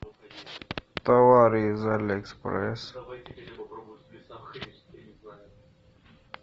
товары из алиэкспресс